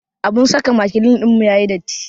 Abun saka makilin ɗinmu ya yi datti.